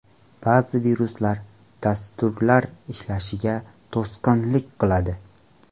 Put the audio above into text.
Ba’zi viruslar dasturlar ishlashiga to‘sqinlik qiladi.